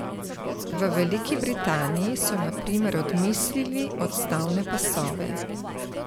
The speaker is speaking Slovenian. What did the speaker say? V Veliki Britaniji so na primer odmislili odstavne pasove.